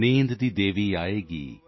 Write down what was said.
ਨੀਂਦ ਦੀ ਦੇਵੀ ਆ ਜਾਏਗੀ